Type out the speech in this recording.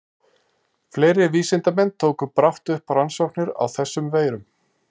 Fleiri vísindamenn tóku brátt upp rannsóknir á þessum veirum.